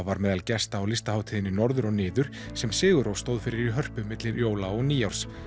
var meðal gesta á listahátíðinni Norður og niður sem sigur rós stóð fyrir í Hörpu milli jóla og nýárs